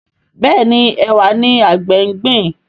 Béèni Ẹwà ní àgbè ngbin.